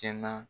Kɛ na